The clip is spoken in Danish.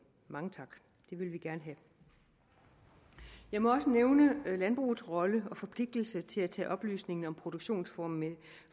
det vil vi gerne have jeg må også nævne landbrugets rolle i og forpligtelse til at tage oplysningen om produktionsformen